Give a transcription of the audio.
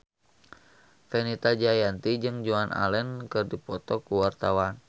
Fenita Jayanti jeung Joan Allen keur dipoto ku wartawan